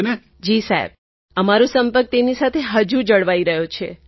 તરન્નુમ ખાન જી સાહેબ અમારો સંપર્ક તેમની સાથે હજુ જળવાઈ રહ્યો છે